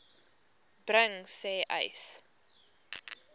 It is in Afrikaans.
bring sê uys